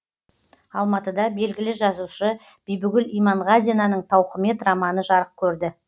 алматыда белгілі жазушы бибігүл иманғазинаның тауқымет романы жарық көрді